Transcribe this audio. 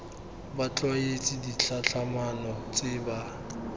ba tlwaetse ditlhatlhamano tse ba